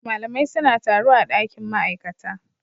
Malamai suna taro a dakin ma'aikata